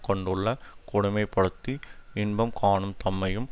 கொண்டுள்ள கொடுமை படுத்தி இன்பம்காணும் தம்மையும்